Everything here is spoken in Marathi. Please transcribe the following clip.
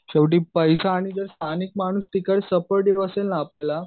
शेवटी पैसा आणि जे स्थानिक माणूस आपल्याला